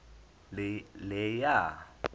leya